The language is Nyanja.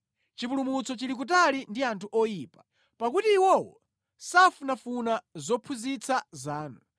Chipulumutso chili kutali ndi anthu oyipa, pakuti iwowo safunafuna zophunzitsa zanu.